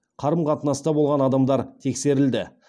қарым қатынаста болған адамдар тексерілді